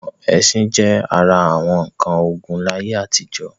Àwọn ẹṣin jẹ́ ara àwọn nǹkan ogun láyé àtijọ́.